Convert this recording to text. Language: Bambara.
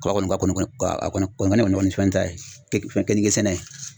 Kaba kɔni ka kɔnɔ a kɔni kɔni kɔni ka kɔni ne fɛn ta ye fɛn keninke sɛnɛ ta ye